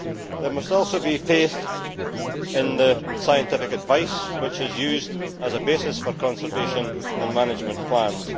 There must also be faith in the scientific advice which is used as a basis for conservation and management plans.